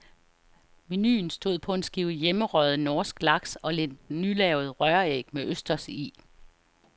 Menuen stod på en skive hjemmerøget norsk laks og lidt nylavet røræg med østers i.